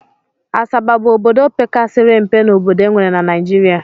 Asaba bụ obodo pekasịrị mpe n'obodo e nwere na Naijiria